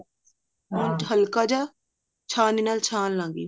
ਹੁਣ ਹਲਕਾ ਜਾ ਛਾਣਨੀ ਨਾਲ ਛਾਣ ਲਾਂ ਗੀ